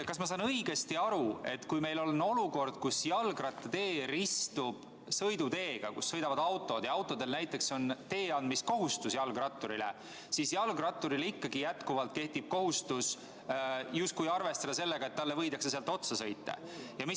Kas ma saan õigesti aru, et kui meil on olukord, kus jalgrattatee ristub sõiduteega, kus sõidavad autod, ja autodel on jalgratturile tee andmise kohustus, siis jalgratturi puhul kehtib ikkagi jätkuvalt kohustus justkui arvestada sellega, et talle võidakse sealt otsa sõita?